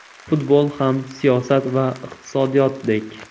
Futbol ham siyosat va iqtisodiyotdek.